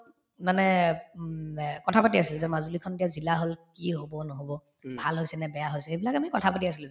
মানে উম এ কথাপাতি আছিলো যে মাজুলীখন এতিয়া জিলা হল কি হব নহব ভাল হৈছে নে বেয়া হৈছে এইবিলাক আমি কথা পাতি আছিলো